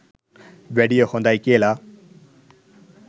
වැඩිය හොඳයි කියල.